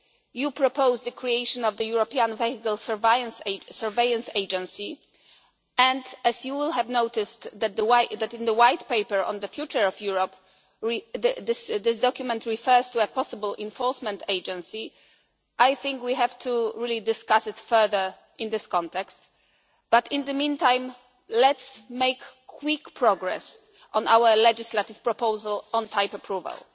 You propose the creation of the European Vehicle Surveillance Agency, and as you will have noticed in the White Paper on the future of Europe that this document refers to a possible enforcement agency, I think we have to really discuss it further in this context. But in the meantime, let us make quick progress on our legislative proposal on type